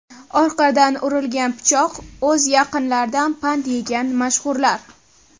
Orqadan urilgan pichoq: o‘z yaqinlaridan pand yegan mashhurlar.